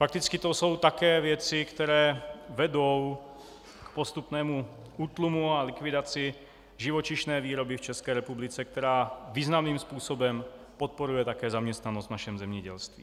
Fakticky to jsou také věci, které vedou k postupnému útlumu a likvidaci živočišné výroby v České republice, která významným způsobem podporuje také zaměstnanost v našem zemědělství.